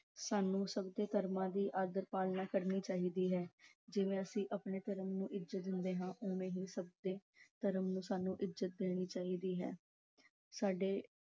ਸਾਨੂੰ ਸਭ ਦੇ ਧਰਮਾਂ ਦੀ ਆਦਰ-ਪਾਲਣਾ ਕਰਨੀ ਚਾਹੀਦੀ ਹੈ ਜਿਵੇਂ ਅਸੀਂ ਆਪਣੇ ਧਰਮ ਨੂੰ ਇੱਜਤ ਦਿੰਦੇ ਹਾਂ ਉਵੇਂ ਹੀ ਸਭ ਦੇ ਧਰਮ ਨੂੰ ਸਾਨੂੰ ਇੱਜਤ ਦੇਣੀ ਚਾਹੀਦੀ ਹੈ। ਸਾਡੇ